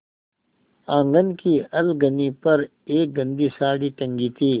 आँगन की अलगनी पर एक गंदी साड़ी टंगी थी